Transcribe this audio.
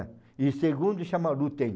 É. E o segundo chama.